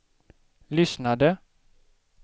lyssnade